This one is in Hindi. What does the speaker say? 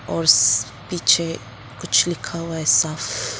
औरस पीछे कुछ लिखा हुआ है साफ ।